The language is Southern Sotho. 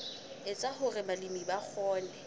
etsa hore balemi ba kgone